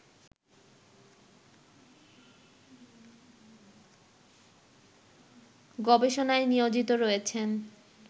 গবেষণায় নিয়োজিত রয়েছেন